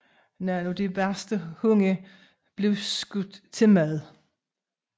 Nogle af de værste hunde blev skudt til mad